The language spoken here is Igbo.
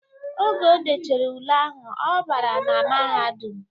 Oge o dechere ule ahụ ọ bara na mahadum.